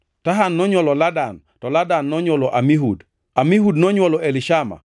Tahan nonywolo Ladan, to Ladan nonywolo Amihud, Amihud nonywolo Elishama,